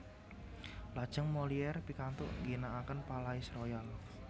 Lajeng Molière pikantuk ngginakaken Palais Royal